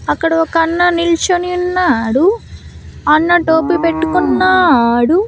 అక్కడ ఒక అన్న నిల్చోని ఉన్నాడు అన్న టోపీ పెట్టుకున్నాడు.